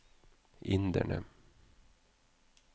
inderne